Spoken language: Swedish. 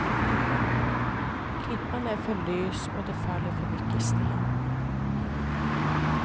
Klippan är för lös och det faller för mycket sten.